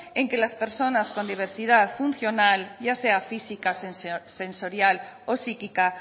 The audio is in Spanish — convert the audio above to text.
en que las personas con diversidad funcional ya sea física sensorial o psíquica